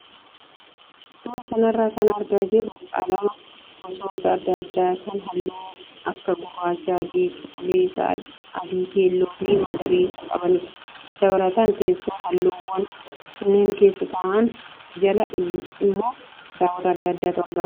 Suuraa kanarra kan argaa jirru qalama gosoota adda addaa kan halluu akka gurraacha, adii, cuquliisa, adii, keelloo fi magariisa qabanidha. Dabalataan teessoo halluuwwan kunneen keessa taa'an jala iimmoo kitaabota adda addaatu argama.